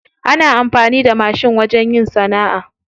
Ana amfani da mashin wajen yin sana'a.